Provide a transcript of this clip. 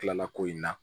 Tila ko in na